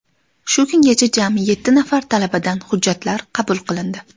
Shu kungacha jami yetti nafar talabadan hujjatlar qabul qilindi.